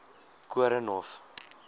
koornhof